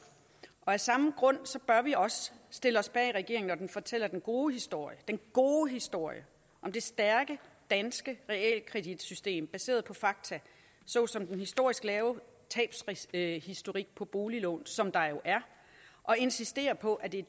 og af samme grund bør vi også stille os bag regeringen når den fortæller den gode historie gode historie om det stærke danske realkreditsystem baseret på fakta såsom den historisk lave tabshistorik på boliglån som der jo er og insistere på at det er